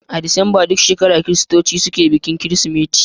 A Disambar duk shekara kiristoci suke bikin kirsimeti.